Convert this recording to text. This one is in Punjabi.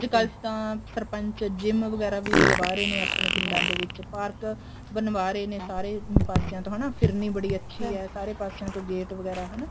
ਕੱਲ ਤਾਂ ਸਰਪੰਚ GYM ਵਗੈਰਾ ਵੀ ਲਗਵਾ ਰਹੇ ਨੇ ਆਪਣੇ ਪਿੰਡਾਂ ਦੇ ਵਿੱਚ ਪਾਰਕ ਬਣਵਾ ਰਹੇ ਨੇ ਸਾਰੇ ਪਾਸਿਆ ਤੋ ਹਨਾ ਫਿਰਨੀ ਬੜੀ ਅੱਛੀ ਹੈ ਸਾਰੇ ਪਾਸਿਆ ਤੋ ਗੇਟ ਵਗੈਰਾ ਹਨਾ